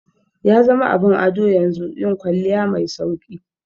Yazama abin ado yanzu yin kwalliya mai sauki